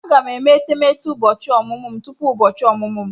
Aga m eme etemeete ụbọchị ọmụmụ m tupu ụbọchị ọmụmụ m.